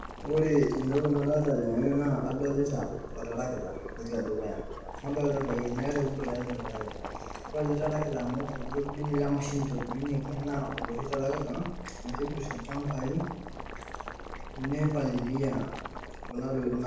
Ore entoki nadolita tene naa adolita oltarakita ntoki edukuya. Nadolita ilpayiani aare oboito oele tarakita. Ore ele tarakita amu olkitobirunye lemashini eitobirunyeki naa oloshi tarakita oitibirr ilchambai neipalilia kuna tokitin naa.